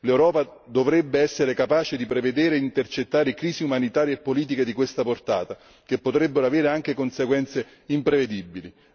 L'Europa dovrebbe essere capace di prevedere e intercettare crisi umanitarie e politiche di questa portata che potrebbero avere anche conseguenze imprevedibili.